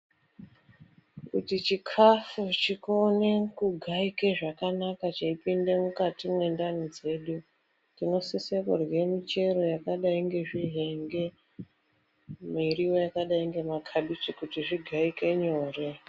Ichi chikafu ichi kuone kugaike zvakanaka cheipinde mwukati mwendani dzedu. Tinosise kurye michero yakadai ngezvihenge, miriwo yakadai ngemakabichi kuti zvigaike nyore.